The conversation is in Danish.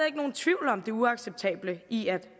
ikke nogen tvivl om det uacceptable i at